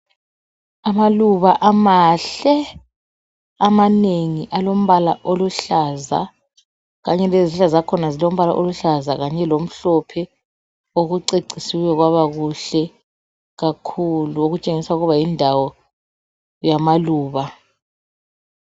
Amaluba amahle amanengi alombala oluhlaza kanye lezihlahla zakhona zilombala oluhlaza, kanye lomhlophe kucecisiwe kwaba kuhle kakhulu okutshengisa ukuba yindawo yamaluba.